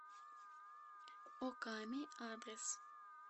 оками адрес